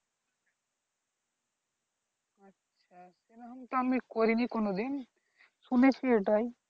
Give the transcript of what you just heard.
সেরকম তো আমি করিনি কোনোদিন শুনেছি এটাই